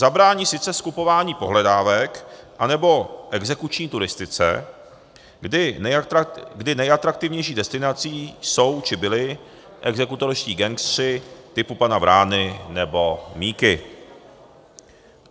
Zabrání sice skupování pohledávek anebo exekuční turistice, kdy nejatraktivnější destinací jsou či byli exekutorští gangsteři typu pana Vrány nebo Míky.